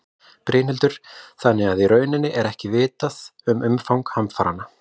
Brynhildur: Þannig að í rauninni er ekki vitað um umfang hamfaranna?